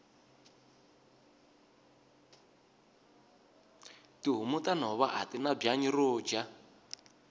tihhomu tanhova atina bwanyi roja